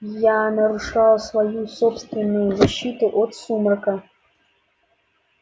я нарушал свою собственную защиту от сумрака